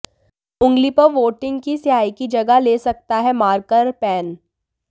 उंगली पर वोटिंग की स्याही की जगह ले सकता है मार्कर पेन